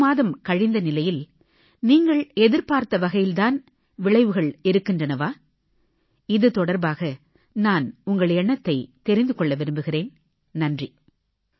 ஒரு மாதம் கழிந்த நிலையில் நீங்கள் எதிர்பார்த்த வகையில் தான் விளைவுகள் இருக்கின்றவா இது தொடர்பாக நான் உங்கள் எண்ணத்தைத் தெரிந்து கொள்ள விரும்புகிறேன் நன்றி